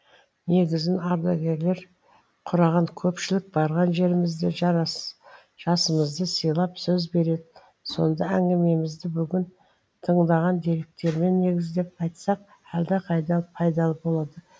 негізін ардагерлер құраған көпшілік барған жерімізде жасымызды сыйлап сөз береді сонда әңгімемізді бүгін тыңдаған деректермен негіздеп айтсақ әлдеқайда пайдалы болады